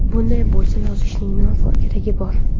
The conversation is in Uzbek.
Bunday bo‘lsa, yozishning nima keragi bor?